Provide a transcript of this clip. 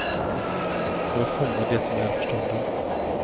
Jag vill fånga det som är för stunden.